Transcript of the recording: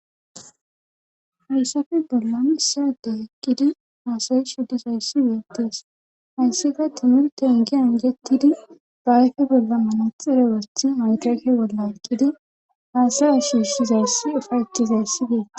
Hayssafe bollan issade hekkidi haasayi shuddisayssi wuyottees hayssika timir tengi angettidi baayfi bolla manaxire wethi madashe bolla eqqidi haasaya shiushizayssi ufayetizayssidee.